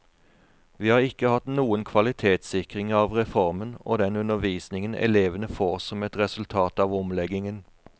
Vi har ikke hatt noen kvalitetssikring av reformen og den undervisningen elevene får som et resultat av omleggingen.